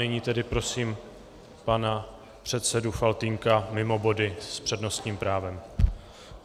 Nyní tedy prosím pana předsedu Faltýnka mimo body s přednostním právem.